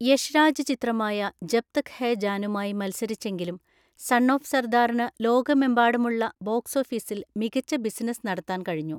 യഷ് രാജ് ചിത്രമായ ജബ് തക് ഹേ ജാനുമായി മത്സരിച്ചെങ്കിലും സൺ ഓഫ് സർദാറിന് ലോകമെമ്പാടുമുള്ള ബോക്സോഫീസിൽ മികച്ച ബിസിനസ് നടത്താൻ കഴിഞ്ഞു.